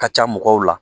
Ka ca mɔgɔw la